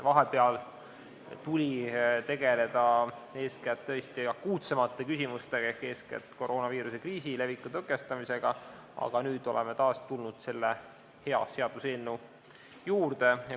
Vahepeal tuli tegelda eeskätt akuutsemate küsimustega ehk koroonaviiruse kriisiga ja viiruse leviku tõkestamisega, aga nüüd oleme taas tulnud selle hea seaduseelnõu juurde.